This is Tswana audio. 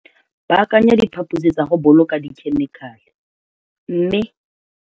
Baakanya diphaposi tsa go boloka dikhemikale, mme.